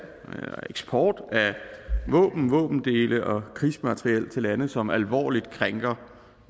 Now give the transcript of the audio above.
og eksport af våben våbendele og krigsmateriel til lande som alvorligt krænker